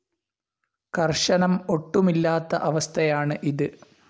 കർശനം ഒട്ടുമില്ലാത്ത അവസ്‌ഥയാണ് ഇത്.